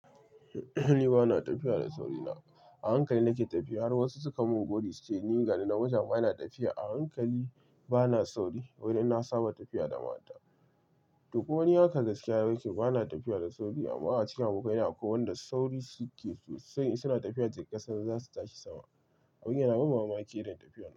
Ni bana tafiya da saurina. A hankali nake tafiya har wasu suka mun godi cewa ni gani nan mutum bana tafiya. A hankali bana sauri wai dan na saba tafiya da mata. To kuma ni hakan gaskiya nake. Bana tafiya da sauri amma a cikin abokaina akwai wanda sauri suke sosai in suna tafiya yadda kasan zasu tashi sama. Abin yana ban mamaki irin tafiyar nan.